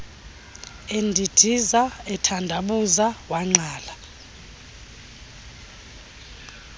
endindiza ethandabuza wangqala